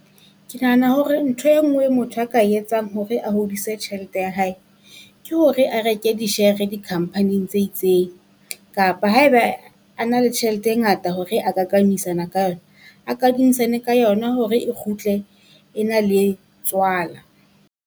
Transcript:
Ke nahana hore ntho e nngwe motho a ka etsang hore a hodise tjhelete ya hae, ke hore a reke di share-re di-company-ing tse itseng. Kapa haeba a na le tjhelete e ngata hore a ka kamisana ka yona, a kadimisane ka yona hore e kgutle e na le tswala.